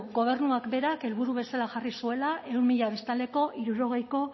gobernuak berak helburu bezala jarri zuela ehun mila biztanleko hirurogeiko